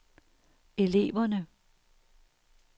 eleverne